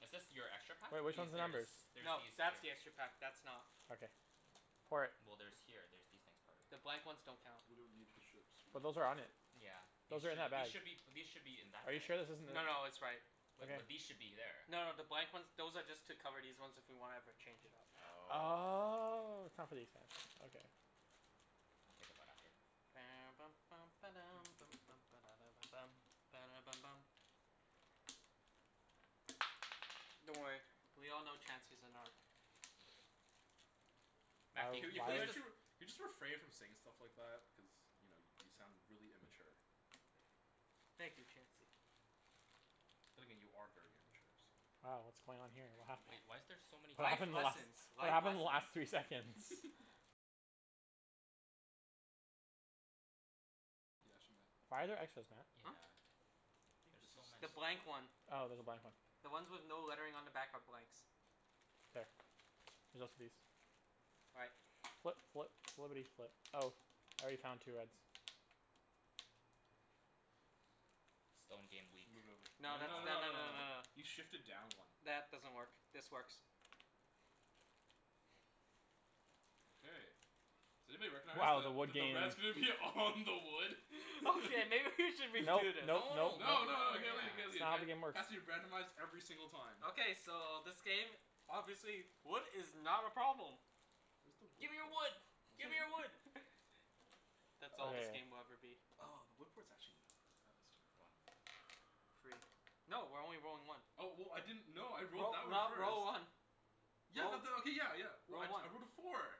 Is this your extra pack? Wait, which These, one's the there is, numbers? there's No, these here. that's the extra pack. That's not. Okay. Pour it. Well there's here, there's these things part of The it. blank ones don't count. We don't need the ships, we're But not those going are to on play it. with them. Yeah. These Those are in should, our these bags. should be, these should be in that Are you bag. sure this isn't the No no, it's right. Wait Wait, but but these should be there. No no, the blank ones, those are just to cover these ones if we wanna ever change it up. Oh. Oh, it's not for these guys, okay. We'll take them out after. Don't worry, we all know Chancey's a narc. Oh Matthew, Can can you you can you please why just actually r- can you just refrain from saying stuff like that? Cuz you know y- you sound really immature. Thank you Chancey. But then again, you are very immature, so Uh what's going on here? What happened? Wait, why is there so many What Life happened the last lessons, what life happened lessons. the last three seconds? Why are there extras, Matt? Yeah, Huh? I think there's this so The many. blank is one. one. Oh there's a blank one. The ones with no lettering on the back are blanks. K, there's also these. All right. Flip flip flippity flip. Oh, I already found two reds. Stone game weak. Move it over. No No no that's, no tha- no no no no no no no, no. you shifted down one. That doesn't work, this works. Okay, does anybody recognize Wow, the wood that the games. red's gonna be all on the wood? Okay, maybe we should Nope redo this. nope No no, no nope nope No no no nope. you gotta leave it yeah. you gotta It's leave it not how the got game works. Has to be randomized every single time Okay, so this game, obviously wood is not a problem. Where's the wood Gimme your port? wood! Oh it's Gimme your right wood! there. That's all this Okay. game will ever be. Oh the wood port's actually not that bad this One. time. Three. No, we're only rolling one. Oh w- w- I didn't, no I rolled Roll, that one roll, first. roll one. Yeah Roll, but that, okay, yeah yeah, roll one. I rolled a four.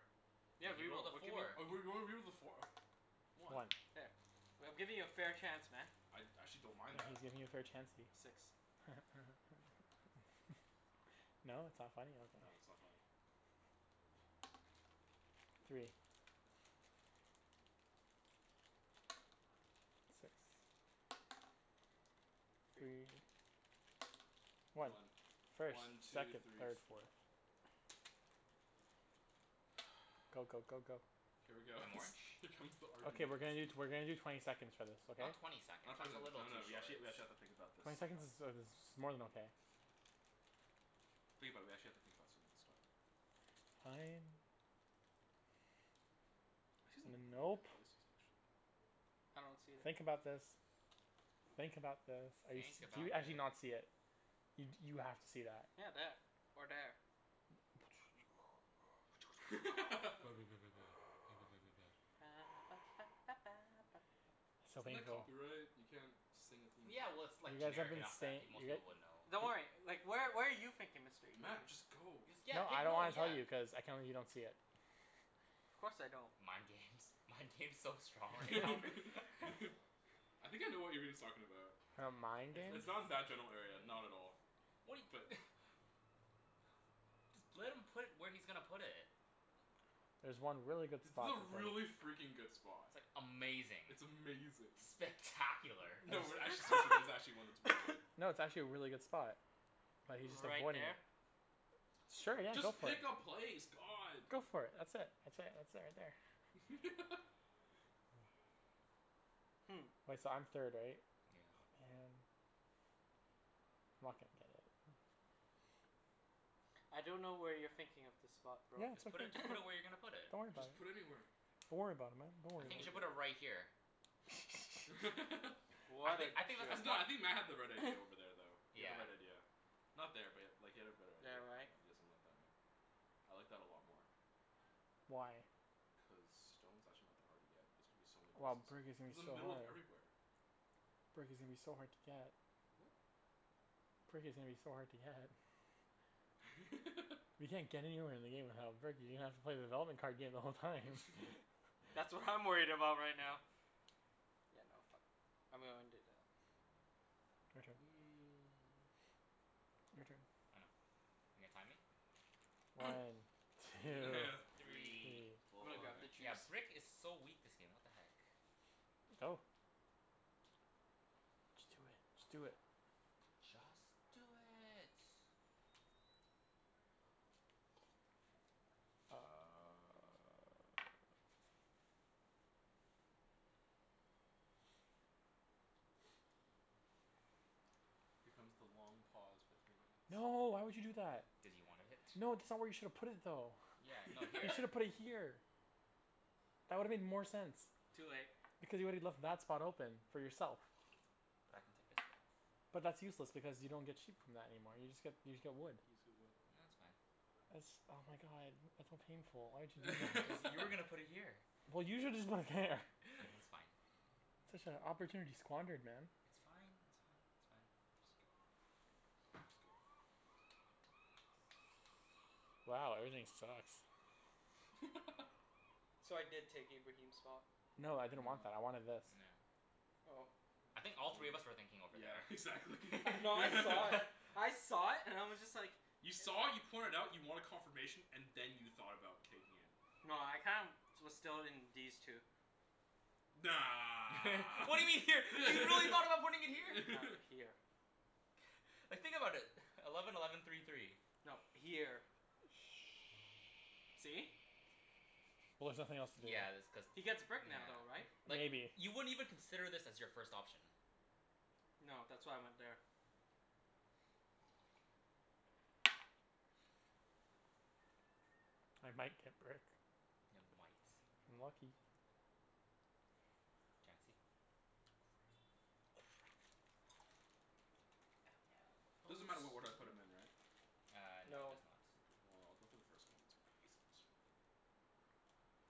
Yeah, Yeah, he rolled re-roll. a We're giving four. a four. Whatever, one. One. There. We- I'm giving you a fair chance, man. I I actually don't mind He's that. giving you a fair Chancey. Six. No? it's not funny? Okay. No, it's not funny. Three. Six. Three. Three. One. One. First, One, two, second, three, third, four. fourth. Go go go go. Here we go I'm orange. Here comes the argument Okay we're gonna do t- we're gonna do twenty seconds for this, okay? Not twenty seconds. Not twenty That's a seconds, little no too no, we short. actually we actually have to think about this Twenty seconds sometimes. is uh is more than okay. Think about it, we actually have to think about some of this stuff. Fine. I see some N- really good nope. places actually. I don't see that. Think about this. Think about this. Are you s- Think do you about actually thi- not see it? You d- you have to see that. Yeah, there, or there. So Isn't that painful. copyright? You can't sing a theme Yeah well, song. it's like You guys have generic been enough that say- pe- most you guy- people would know. Don't worry, like where where are you thinking Mr. Ibrahim? Matt, just go. You s- yeah No pick, I don't no wanna tell yeah you, cuz I can't believe you don't see it. Of course I don't. Mind games, mind games so strong right now. I think I know what Ibrahim's talking about. Mind It's games? it's not in that general area, not at all, What he but Just let him put where he's gonna put it. There's one really good It's spot to a play. really freakin' good spot. Amazing. It's amazing. Spectacular. No we're actually serious, there's actually one that's really good. No, it's actually a really good spot. But he's just Right avoiding it. there? Sure, yeah, go Just for it. pick a place, god. Go for it. That's it, that's it, that's it right there. Hmm. Wait, so I'm third right? Yeah. Oh man. I'm not gonna get it. I don't know where you're thinking of the spot bro. Yeah, it's Just right put it, just put it where you're gonna put there. it. Don't worry about Just it. put anywhere. Don't worry about it man, don't I worry Don't about think you worry should it. put about it it. right here. I What a think I think that's the jerk. No, I spot. think Matt had the right idea over there though. He had the Yeah. right idea. Not there but like he had a better idea, There, yeah right? you got something like that, yeah. I like that a lot more. Why? Cuz stone's actually not that hard to get. It's gonna be so many Well, places. brick is It's gonna in the be so middle of hard. everywhere. Brick is gonna be so hard to get. Brick is gonna be so hard to get. You can't get anywhere in the game without brick, you're gonna have to play the development card game the whole time. That's what I'm worried about right now. Yeah no fuck, I'm gonna undo that. Your turn. Your turn. I know. You're gonna time me? One, two, Three, three. I'm gonna four grab the Yeah, juice. brick is so weak this game, what the heck. Go. Just do it, just do it. Just do it. Here comes the long pause for three minutes. No, why would you do that? Cuz you wanted it. No, that's not where you shoulda put it though. Yeah, no, You here. shoulda put it here. That would've made more sense, Too late. because you woulda left that spot open for yourself. But I can take this back. But that's useless because you don't get sheep from that anymore, you just get, you just get wood. He needs to get No, wood. it's fine. That's, oh my god, that's so painful, why would you do that? Cuz you were gonna put it here. Well you shoulda just put it there It's fine. Such a opportunity squandered man. It's fine, that's fine, it's fine. Just go. Oops, go. Wow, everything sucks. So I did take Ibrahim's spot. No, I didn't No. want that, I wanted this. No. Oh. I think all I three of would've, us were thinking over yeah there. exactly No, I saw it. I saw it and I was just like You saw it, you point it out, you wanted confirmation, and then you thought about taking it. No, I kinda was still in these two. Nah. What do you mean here? You really thought about putting it here? No, here. Like think about it. Eleven eleven three three. No, here. Oh. Shh, See? well there's nothing else to do. Yeah that's cuz, He gets brick now though, right? nah Like Maybe. you wouldn't even consider this as your first option. No, that's why I went there. I might get brick. Ya might. If I'm lucky. Chancey? Crap. Crap. Oh no. Oh Doesn't snap. matter what order I put 'em in right? Uh no, it No. does not. Mkay, well I'll go for the first one and get some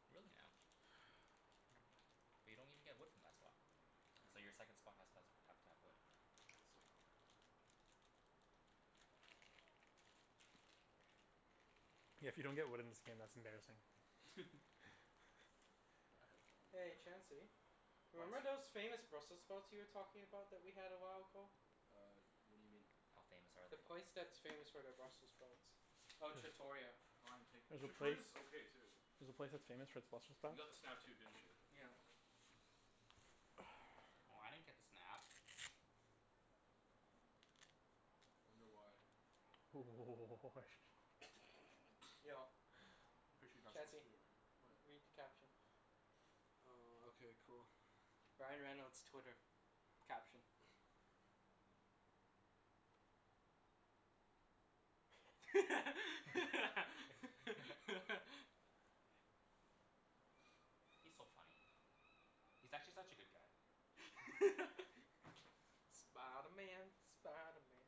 Really now? But you don't even get wood from that spot. So your second I spot has to has have don't to have wood. get. Exactly. Yeah, if you don't get wood in this game that's embarrassing. Yeah, I had the one I'm Hey gonna put there. Chancey. What? Remember those famous Brussels sprouts you were talking about that we had a while ago? Uh what do you mean? How famous are The they? place that's famous for their Brussels sprouts. Oh, Trattoria. Flying Pig, There's a place, Trattoria's okay too. there's a place that's famous for its Brussels You sprouts? got the snap too, didn't you? Yeah. Oh, I didn't get the snap. Wonder why? Yo I'm pretty sure you're not supposed to Chancey, do it right now. read What? the caption. Uh okay cool. Ryan Reynolds' Twitter. Caption. He's so funny. He's actually such a good guy. Spider Man, Spider Man.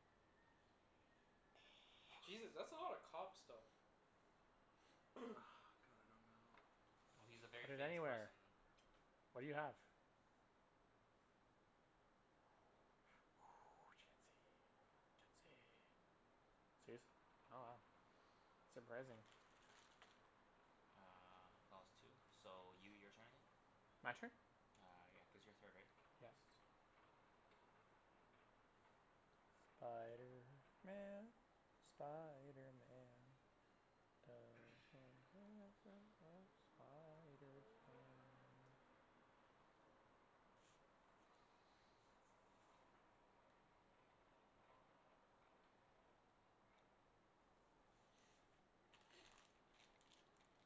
Jesus, that's a lot of cops though. God, I don't know. Well, he's a very Put it famous anywhere. person. What do you have? Chancey, Chancey. Serious? Oh wow. Surprising. Uh clause two. So you, your turn again. My turn? Uh yeah, cuz you're third right? Yes. Spiderman, Spiderman. Does whatever a spider can.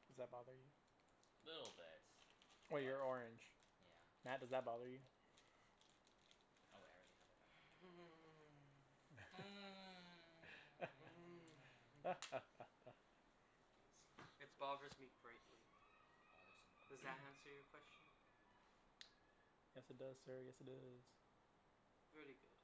Does that bother you? Little bit. Oh, But, you're orange. yeah. Matt, does that bother you? Oh wait, I already have a doubt. It bothers me greatly. Bothers him Does greatly. that answer your question? Yes it does sir, yes it does. Very good.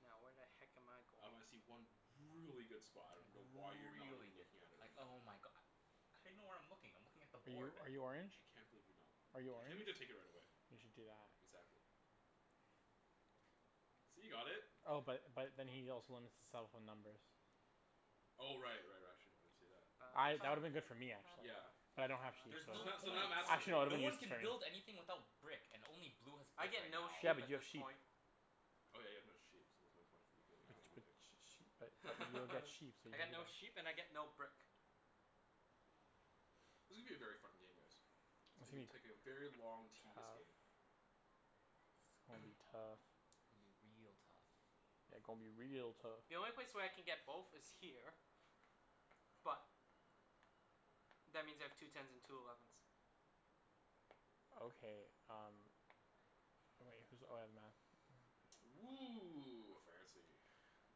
Now where the heck am I going? Um I see one really good spot, I dunno why you're not Really even good. looking at it Like right now. oh my go- How do you know where I'm looking? I'm looking at the Are you board. are you orange? I can't believe you're not Are you I orange? can't believe you didn't take it right away. You should do that. Exactly. See, you got it. Oh but but then he also limits himself on numbers. Oh right right, actually no I didn't see that. I, that would've been good for me actually, Yeah but yeah. I don't have sheep There's so no Now, so point. now Matt's gonna Actually take no, it No would've it. one been can build useless for me. anything without brick and only blue has I brick get right no now. Yeah, sheep but at you have this sheep. point. Oh yeah, you have no sheep, so there's no point for you But y- getting but y- that Oh. y- either. but you'll get sheep, so you I get can do no sheep that. and I get no brick. This is gonna be a very fun game guys. It's gonna be It's taking a very gonna long be tedious game. tough. It's gonna be tough. Gonna be real tough. Yeah, gon' be real tough. The only place where I can get both is here. But that means I have two tens and two elevens. Okay um Oh wait, who's, oh yeah Matt. Woo, fancy.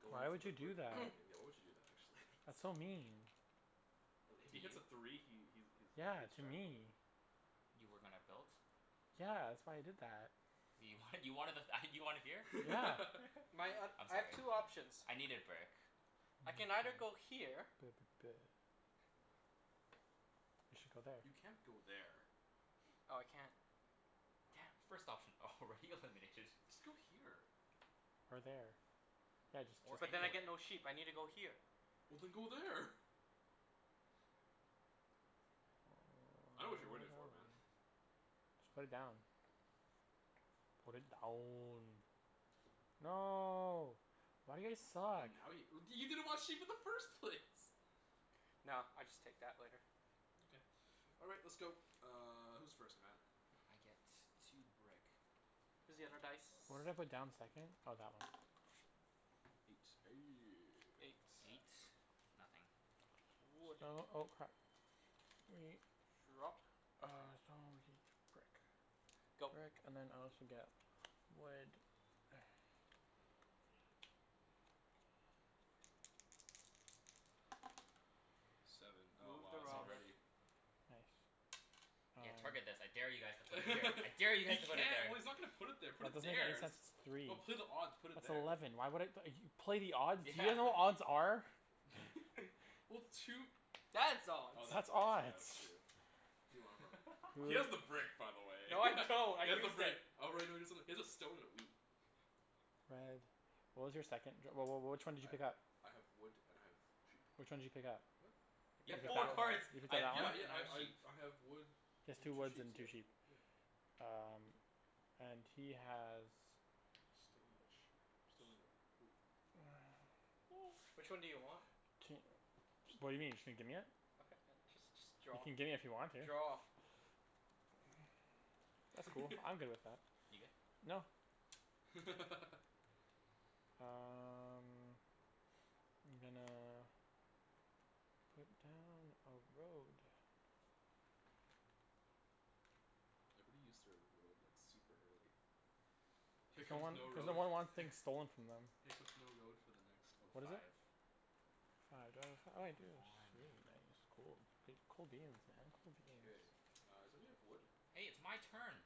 Goin' Why for would the you brick do that? Why would you do that actually? That's so mean. Uh if To he hits you? a three he he's he Yeah, hits to jackpot. me. You were gonna build? Yeah, that's why I did that. You wanted, you wanted the th- ah you wanted here? Yeah. My um, I'm I have sorry. two options. I needed brick. I can either go here. You should go there. You can't go there. Oh I can't. Damn. First option already eliminated. Just go here. Or there. Yeah, just Or But just then I anywhere. get no sheep. I need to go here. Well then go there. I dunno what you're waiting for man. Just put it down. Put it down. No. Why do you guys Oh suck? now you w- you didn't want sheep in the first place. No, I'll just take that later. Okay. All right, let's go, uh who's first Matt? I get two brick. Here's the other dice. Where did I put down the second? Oh that one. Eight. Eight Nothing. Wood. Sto- oh crap. Drop. Uh stone, wheat, brick. Go. Brick and then I also get wood Seven. Oh Move the wow, it's robber. already Nice. Yeah, target I this. I dare you guys to put it here. I dare you He guys to put it can't, there. well he's not gonna put it there, put That it doesn't make any there. That's sense, it's three. just, put odd, put it That's there. eleven, why would I play the odds? You Yeah, know what what are you odds are? Well two That's odds. Oh That's that's odds, yeah that's odds. true. Who do you want it from? He has the Br- brick by the way No he I don't, I has the used it. brick. Oh right no you got something, he has a stone and a wheat. Red, what was your second? Wh- wh- which one did you pick up? I I have wood and I have sheep. Which one did you pick up? What? He You You picked have picked up up four that wood. one, cards. you picked "I up have that Yeah wood yeah and one? I I have I sheep." I have wood He has and two two woods and sheeps, yeah two sheep. yeah. Um and he has Stone and sheep. Stone and a wheat. Which one do you want? Ca- what do you mean? Just gonna gimme it? Okay just just You draw. can gimme if you want to. Draw. That's cool, I'm good with that. You good? No. Um I'm gonna put down a road. Everybody used their road like super early. Here Cuz no comes one, no cuz no road one wants f- things stolen from them. here comes no road for the next oh What is it? five. Five. Five uh oh I Come do, on. sweet, cool, goo- cool beans man, cool K, beans. uh somebody have wood? Hey, it's my turn.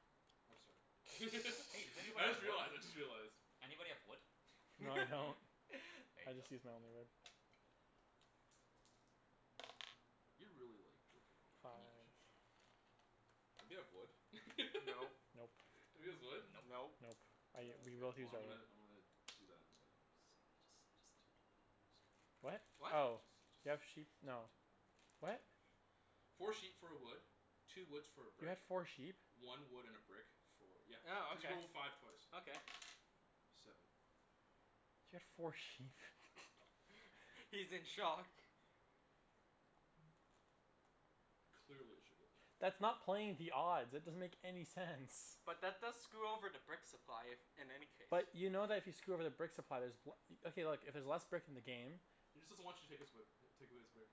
Oh sorry, Hey does anyone I just have wood? realized, I just realized. Anybody have wood? No I don't, There I you go. just used my only wood. You're really like drinkin' all that, Can you aren't Five. you? Anybody have wood? Nope. Nope. Nobody has wood? Nope. Nope. Nope. I u- Oh we okay. both Well used our I'm wood. gonna I'm gonna do that and uh What? do do that. What? Oh, do you have sheep, no, what? Four sheep for a wood, two woods for a You brick, had four sheep? one wood and a brick for, yeah, Oh cuz you okay, rolled a five twice. okay. Seven. You had four sheep He's in shock. Clearly, I should go there. That's not playing the odds. It doesn't make any sense. But that does screw over the brick supply, if, in any case. But you know that if you screw over the brick supply there's w- okay look, if there's less brick in the game He just doesn't want you to take his way b- take away his brick.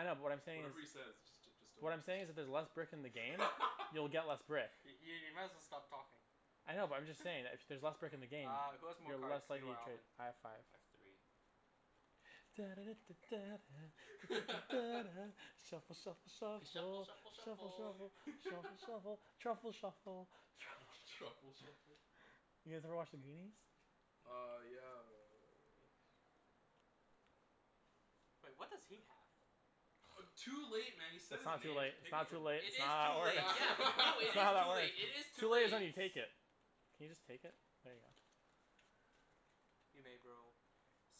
I know but what I'm saying is Whatever he says just j- just don't What I'm just saying is if there's j- less brick in the game you'll get less brick. I- i- you might as well stop talking. I know but I'm just saying that if y- there's less brick in the game Uh who has more you're cards, less you likely or to Alvin? have I five. have three. shuffle shuffle shuffle shuffle F- shuffle shuffle shuffle shuffle shuffle. shuffle truffle shuffle truffle Truffle shuffle. Truffle shuffle? shuffle? You guys ever watch The Goonies? No. Uh yeah uh Wait, what does he have? Uh too late man you said That's his not too name, late, it's pick it not too from him. late, It it's not is how that too late. works, Yeah, no, it it's not is how that too works. late, it is too Too late is when late. you take it. Can you just take it? There you go. You may bro,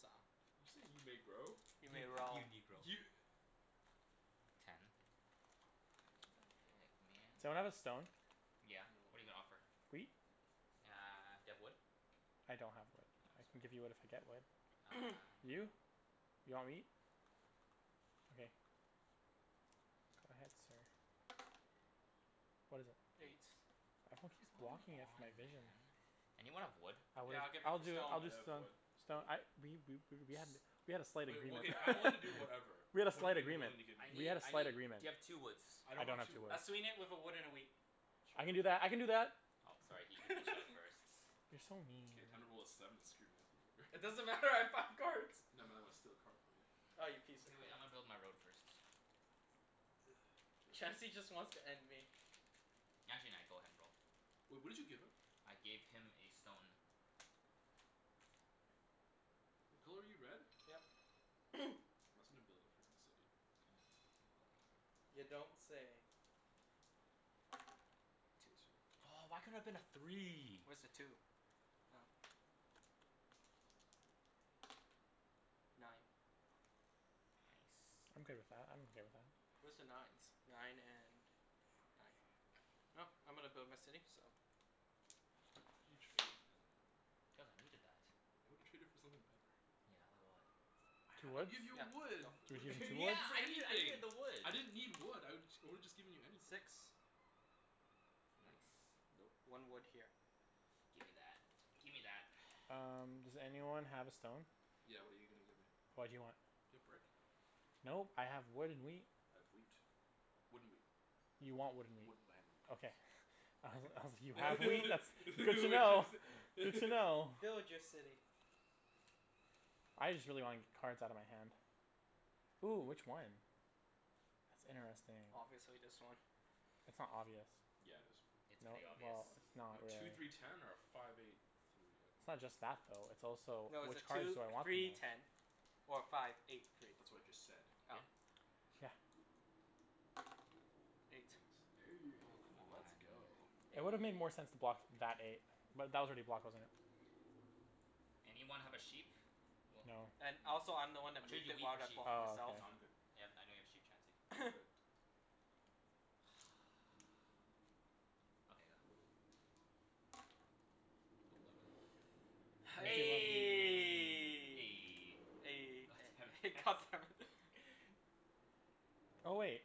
sa- You say you may grow? You may roll. You negro. You Ten. What the heck Someone man? have a stone? Yeah, No. what're you gonna offer? Wheat? Uh do you have wood? I don't have wood. Oh, I can sorry. give you wood if I get wood. Uh no. You? You want wheat? Okay. Go ahead sir. What is it? Eight. Eight. Everyone keeps Come blocking it from on my vision. man. Anyone have wood? I would, Yeah, I'll give it I'll for do, stone. I'll I just have uh, wood, stone wheat. I we we w- w- we had a slight Wait, well agreement okay, I'm willing to do whatever. We had a What are you slight gonna be agreement, willing to give me? I we need, had a I slight need, agreement. do you have two woods? I I don't don't have have two two wood. woods. I'll sweeten it with a wood and a wheat. I can do Sure. that, I can do that. Oh sorry, he he beat you out first. You're so mean. K, time to roll a seven and screw Matthew It over. doesn't matter, I have five cards. No Matt, I wanna steal a card from you. Ah, you piece K of wait, crap. I'ma build my road first. K. Chancey just wants to end me. Actually nah, go ahead and roll. Wait, what did you give him? I gave him a stone. What color are you, red? Yep. Matt's gonna build a frickin' city. Can I go in You here? No. don't say. Two twos. Two. Two. Oh why couldn't it have been a three? Where's the two? Oh. Nine. Nice. I'm good with that, I'm okay with that. Where's the nines? Nine and nine. I'm gonna build my city, so Why did you trade, man? Cuz I needed that. I would've traded for something better. Yeah, like what? Two I'd woods? give you Yeah, a wood. go. two What did you need, you Yeah woods? could get I needed, I needed anything. the wood. I didn't need wood, I would I woulda just given you anything. Six. Nope, Nice. nope. One wood here. Gimme that, gimme that Um does anyone have a stone? Yeah what are you gonna give me? What do you want? Do you have brick? Nope, I have wood and wheat. I have wheat. Wood and wheat. You want wood and Wood wheat. Okay. please. I was, I was, you What have wheat, that's that's did good you to know. wanna Good say to know. Build your city. I just really wanna get cards outta my hand. Ooh, which one? That's interesting. Obviously this one. That's not obvious. Yeah it is. It's No, pretty obvious. well, it's not Two really. three ten or a five eight three, It's not okay just that though, it's also No, it's a which cards two do I want the three most? ten or a five eight three. That's what I just said. Oh. Yeah. Eight. Eight Aw come on. let's go. It would've made more sense to block that eight. But that was already blocked, wasn't it? Anyone have a sheep? Well No. And also I'm the No. one I'll that trade moved you it, wheat why for did I sheep. block Oh, myself? No, I'ma, I'm good. okay. yeah I know you have sheep Chancey. I'm good. Okay, go. Eleven. God God damn it hex. damn it Oh wait,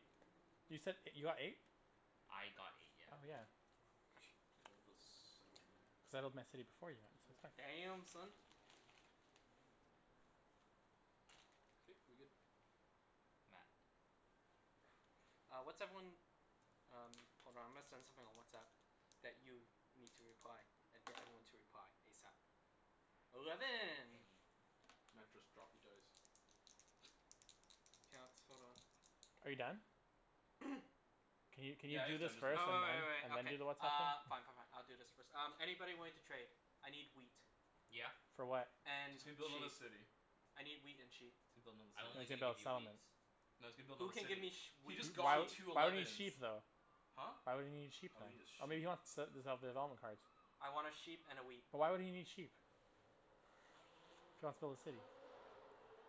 you said you got eight? I got eight, yeah. Oh yeah. K I wanna build settlement. Settled my city before you, Matt, so it's fine. Damn, son. K, we good. Matt. Uh what's everyone, um hold on I'm gonna send something on WhatsApp. That you need to reply. That d- everyone to reply, ASAP. Eleven. Matt just dropped the dice. K let's, hold on. Are you done? Can you can you Yeah he do is this done, Uh just first uh re-roll. and wai- wai- then wai- and then okay. do the WhatsApp Uh. thing? Fine fine fine, I'll do this first. Um Anybody willing to trade? I need wheat. Yeah. For what? And And he's gonna build another sheep. city. I need wheat and sheep. He's gonna build I'm another No, only he's city. gonna gonna build give a you wheat. settlement. No, he's gonna build Who another can give me city. sh- He wheat just Why would, got sheep? two why would he need elevens. sheep though? Huh? Why would he need sheep Oh then? he need a Oh maybe sheep. he wants development cards. I wanna sheep and a wheat. But why would he need sheep? If he wants to build a city?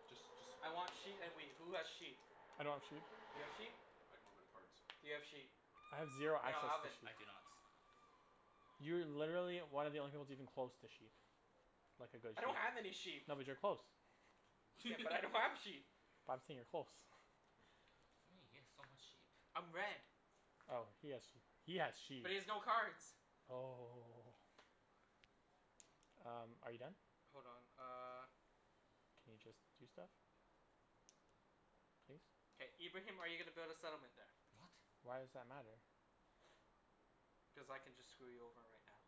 Just just I want sheet and wheat. Who has sheep? I don't have sheep. You have sheep? I don't have any cards. Do you have sheep? I have zero No no, No. access to Alvin. I do sheep. not. You're literally one of the only people that's even close to sheep. Like a good I don't have any sheep. sheep. No, but you're close. Yeah, but I don't have sheep. But I'm saying you're close What do you mean? He has so much sheep. I'm red. Oh he has sheep. He has sheep. But he has no cards. Oh Um, are you done? Hold on, uh. Can you just do stuff? Please? K, Ibrahim are you gonna build a settlement there? What? Why does that matter? Cuz I can just screw you over right now.